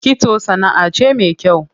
Kitso sanaʼa ce me kyau.